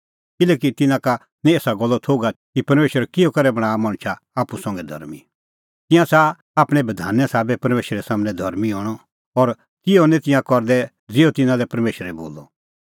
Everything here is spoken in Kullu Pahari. किल्हैकि तिन्नां का निं एसा गल्लो थोघ आथी कि परमेशर किहअ करै बणांआ मणछा आप्पू संघै धर्मीं तिंयां च़ाहा आपणैं बधाने साबै परमेशरा सम्हनै धर्मीं हणअ और तिहअ निं तिंयां करदै ज़िहअ तिन्नां लै परमेशर बोला